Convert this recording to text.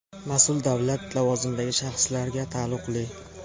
mas’ul davlat lavozimidagi shaxslarga taalluqli.